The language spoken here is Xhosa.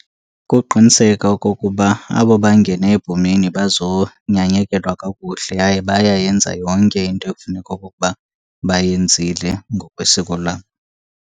Kuqiniseka okokuba abo bangene ebhomeni bazonyanyekelwa kakuhle yaye bayayenza yonke into ekufuneka okokuba bayenzile ngokwesiko lam.